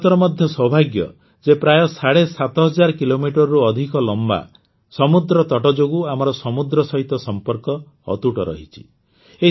ଭାରତର ମଧ୍ୟ ସୌଭାଗ୍ୟ ଯେ ପ୍ରାୟ ସାଢ଼େ ସାତ ହଜାର କିଲୋମିଟର ୭୫୦୦ କିଲୋମିଟରରୁ ଅଧିକ ଲମ୍ବା ସମୁଦ୍ରତଟ ଯୋଗୁଁ ଆମର ସମୁଦ୍ର ସହିତ ସମ୍ପର୍କ ଅତୁଟ ରହିଛି